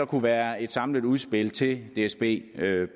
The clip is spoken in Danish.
kunne være et samlet udspil til dsb